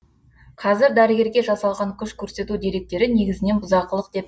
қазір дәрігерге жасалған күш көрсету деректері негізінен бұзақылық деп